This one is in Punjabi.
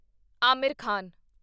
ਆਮਿਰ ਖਾਨ